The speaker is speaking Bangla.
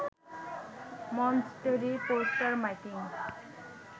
মঞ্চ তৈরি, পোস্টার, মাইকিং